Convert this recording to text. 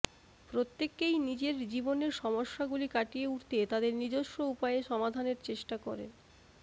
প্রত্যেকেই নিজের জীবনের সমস্যাগুলি কাটিয়ে উঠতে তাদের নিজস্ব উপায়ে সমাধানের চেষ্টা করেন